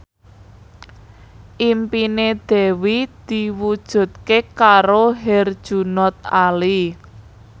impine Dewi diwujudke karo Herjunot Ali